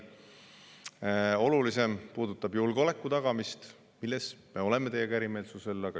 Olulisim puudutab julgeoleku tagamist, milles me oleme teiega eri meelt.